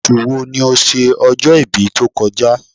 Oṣù wo ni o ṣe ọjọ́-ibí tó kọ já?